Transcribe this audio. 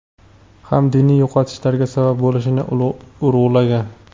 ham diniy yo‘qotishlarga sabab bo‘lishini urg‘ulagan.